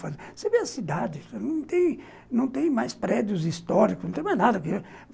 Você vê a cidade, não tem mais prédios históricos, não tem mais nada aqui.